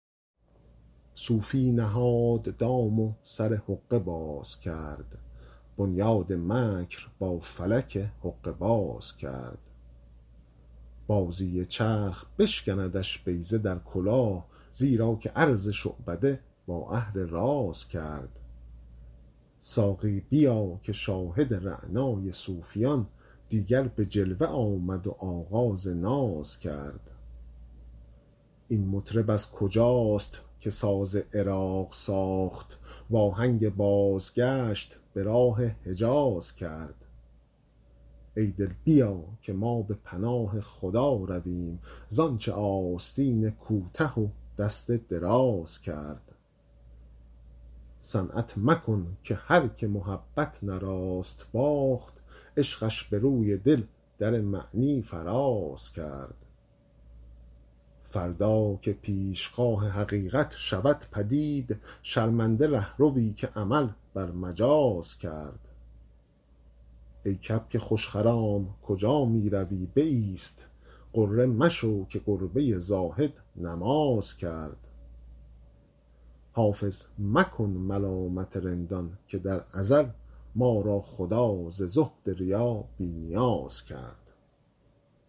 صوفی نهاد دام و سر حقه باز کرد بنیاد مکر با فلک حقه باز کرد بازی چرخ بشکندش بیضه در کلاه زیرا که عرض شعبده با اهل راز کرد ساقی بیا که شاهد رعنای صوفیان دیگر به جلوه آمد و آغاز ناز کرد این مطرب از کجاست که ساز عراق ساخت وآهنگ بازگشت به راه حجاز کرد ای دل بیا که ما به پناه خدا رویم زآنچ آستین کوته و دست دراز کرد صنعت مکن که هرکه محبت نه راست باخت عشقش به روی دل در معنی فراز کرد فردا که پیشگاه حقیقت شود پدید شرمنده رهروی که عمل بر مجاز کرد ای کبک خوش خرام کجا می روی بایست غره مشو که گربه زاهد نماز کرد حافظ مکن ملامت رندان که در ازل ما را خدا ز زهد ریا بی نیاز کرد